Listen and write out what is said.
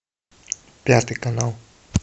пятый канал